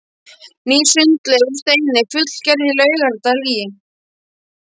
Ný sundlaug úr steini fullgerð í Laugardal í